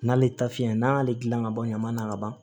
N'ale ta fiyɛ n'a y'ale dilan ka ban ɲama na ka ban